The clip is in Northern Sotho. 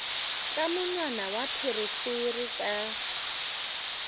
ka monwana wa pherefere ka